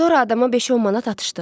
Sonra adama 5-10 manat atışdıq.